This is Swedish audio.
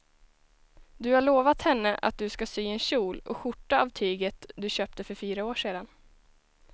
Du har lovat henne att du ska sy en kjol och skjorta av tyget du köpte för fyra år sedan.